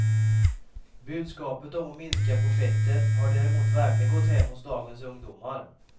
Budskapet om att minska på fettet har däremot verkligen gått hem hos dagens ungdomar.